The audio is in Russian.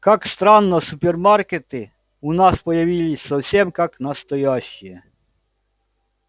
как странно супермаркеты у нас появились совсем как настоящие